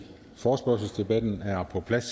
forespørgselsdebatten er på plads